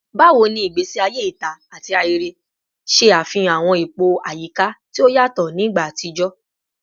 Bawo ni igbesi aye ita ati ahere ṣe afihan awọn ipo ayika ti o yatọ ni igba atijọ?